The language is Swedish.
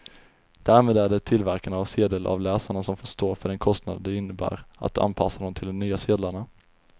Därmed är det tillverkarna av sedelavläsarna som får stå för den kostnad det innebär att anpassa dem till de nya sedlarna.